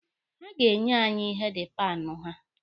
Ha ga-enye anyị heedi panụ ha